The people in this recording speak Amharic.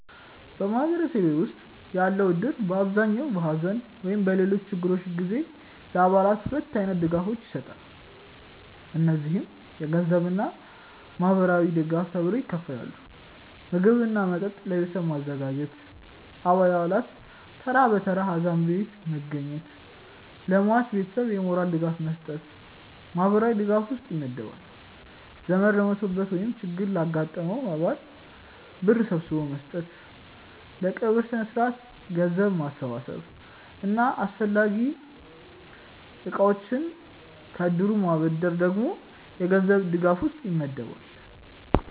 በማህበረሰቤ ውስጥ ያለው እድር በአብዛኛው በሐዘን ወይም በሌሎች ችግሮች ጊዜ ለአባላቱ ሁለት አይነት ድጋፎችን ይሰጣል። እነዚህም የገንዘብ እና ማህበራዊ ድጋፍ ተብለው ይከፈላሉ። ምግብ እና መጠጥ ለቤተሰቡ ማዘጋጀት፣ አባላት ተራ በተራ ሀዘን ቤት መገኘት፣ ለሟች ቤተሰብ የሞራል ድጋፍ መስጠት ማህበራዊ ድጋፍ ውስጥ ይመደባል። ዘመድ ለሞተበት ወይም ችግር ላጋጠመው አባል ብር ሰብስቦ መስጠት፣ ለቀብር ስነስርዓት ገንዘብ መሰብሰብ እና አስፈላጊ እቃዎችን ከእድሩ ማበደር ደግሞ የገንዘብ ድጋፍ ውስጥ ይመደባል።